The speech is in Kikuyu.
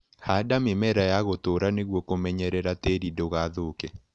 Handa mĩmera ya gũtũra nĩguo kũmenyerera tĩri ndũgathũke.